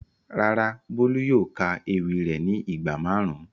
Rárá, Bolu yóò ka ewi re ni igba marun.